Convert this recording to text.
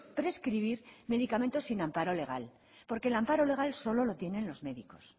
prescribir medicamentos sin amparo legal porque el amparo legal solo lo tienen los médicos